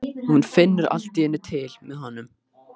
Og hún finnur allt í einu til með honum.